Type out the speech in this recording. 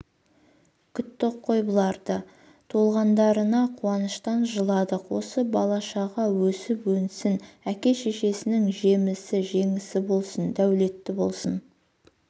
күттік қой бұларды туылғандарында қуаныштан жыладық осы бала-шаға өсіп өнсін әке-шешесінің жемісі жеңісі болсын дәулетті болсын